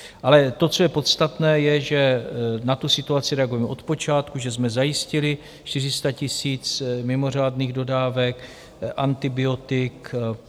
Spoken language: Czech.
Ale to, co je podstatné, je, že na tu situaci reagujeme od počátku, že jsme zajistili 400 000 mimořádných dodávek antibiotik.